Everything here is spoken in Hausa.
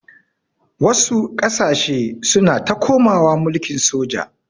Wasu ƙasashe suna ta komawa mulkin soja.